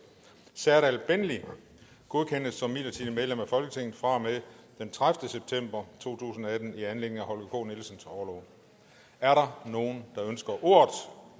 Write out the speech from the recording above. serdal benli godkendes som midlertidigt medlem af folketinget fra og med den tredivete september to tusind og atten i anledning af holger k nielsens orlov er der nogen der ønsker ordet